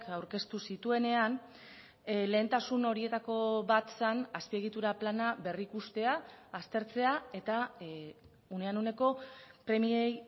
aurkeztu zituenean lehentasun horietako bat zen azpiegitura plana berrikustea aztertzea eta unean uneko premiei